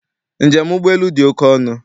Njem ụgbọelu dị oke ọnụ.